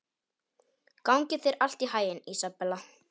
Gangi þér allt í haginn, Ísabella.